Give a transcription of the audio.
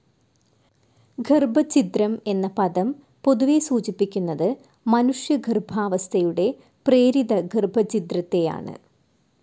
ഗർഭച്ഛിദ്രം എന്ന പദം പൊതുവെ സൂചിപ്പിക്കുന്നത് മനുഷ്യ ഗർഭാവസ്ഥയുടെ പ്രേരിത ഗർഭച്ഛിദ്രത്തെയാണ്.